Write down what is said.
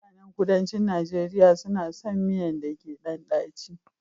Mutanen kuduncin Nigeria suna son miyan da ke ɗan daci